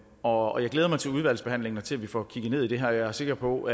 og jeg glæder mig til udvalgsbehandlingen og til at vi får kigget dybere ned i det her jeg er sikker på